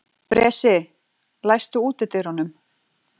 Bresi, læstu útidyrunum.